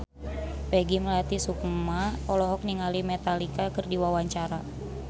Peggy Melati Sukma olohok ningali Metallica keur diwawancara